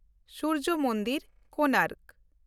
Surya Mandir, Konark